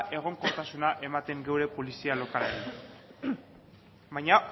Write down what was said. egonkortasuna ematen gure polizia lokalei baina